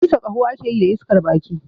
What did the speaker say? Busa ƙaho ake yi da iskar baki